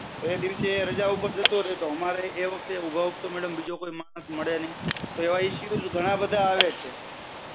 તો એ દિવસ એ રજા ઉપર જતો રે તો અમારે madam એ વખતે અમને કઈ ઉભાઉભ તો માણસ મળે નઈ. તો આવા issue ઘણા બધા આવે છે.